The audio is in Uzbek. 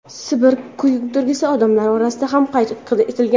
Sibir kuydirgisi odamlar orasida ham qayd etilgan.